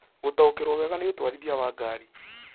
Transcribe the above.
gũtaũkĩrũo wega nĩ ũtwarithia wa ngari